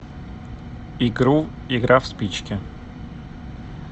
игру игра в спички